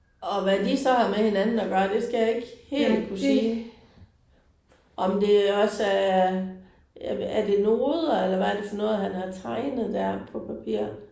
Og hvad de så har med hinanden at gøre det skal jeg ikke helt kunne sige. Om det også er er det noder eller hvad er det for noget han har tegnet der på papiret?